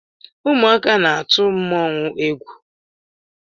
Ụmụaka na-atụ mmanwụ égwú.